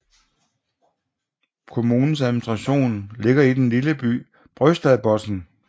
Kommunens administration ligger i den lille by Brøstadbotn